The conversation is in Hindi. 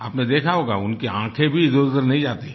आपने देखा होगा उनकी आँखें भी इधरउधर नहीं जाती हैं